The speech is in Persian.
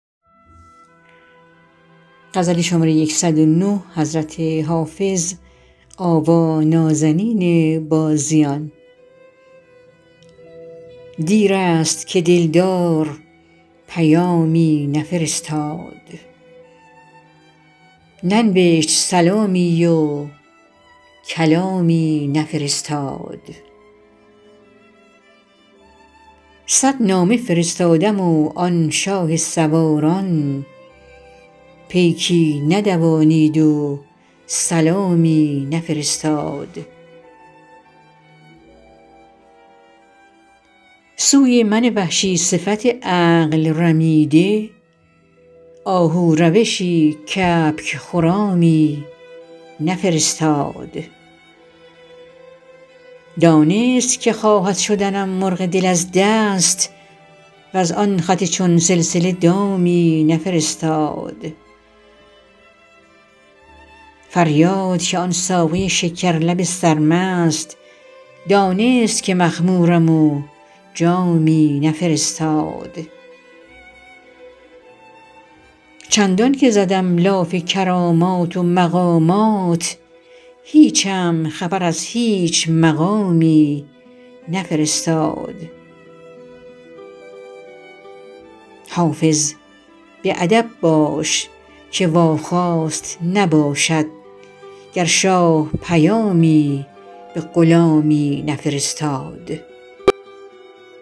دیر است که دل دار پیامی نفرستاد ننوشت سلامی و کلامی نفرستاد صد نامه فرستادم و آن شاه سواران پیکی ندوانید و سلامی نفرستاد سوی من وحشی صفت عقل رمیده آهو روشی کبک خرامی نفرستاد دانست که خواهد شدنم مرغ دل از دست وز آن خط چون سلسله دامی نفرستاد فریاد که آن ساقی شکر لب سرمست دانست که مخمورم و جامی نفرستاد چندان که زدم لاف کرامات و مقامات هیچم خبر از هیچ مقامی نفرستاد حافظ به ادب باش که واخواست نباشد گر شاه پیامی به غلامی نفرستاد